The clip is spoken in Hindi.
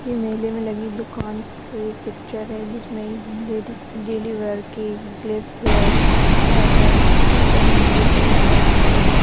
ये मेले मे लगी दुकान की पिच्चर है जिसमे एक लेडिस डेली वियर के क्लिप् हेअर हेअरबैंड क्लेचर नग लेती हुई नजर आ रही है।